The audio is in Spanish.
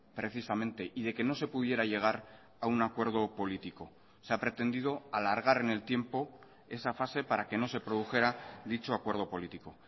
precisamente y de que no se pudiera llegar a un acuerdo político se ha pretendido alargar en el tiempo esa fase para que no se produjera dicho acuerdo político